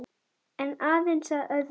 En aðeins að öðrum málum.